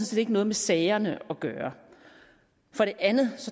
set ikke noget med sagerne gøre for det andet